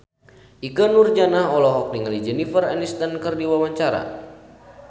Ikke Nurjanah olohok ningali Jennifer Aniston keur diwawancara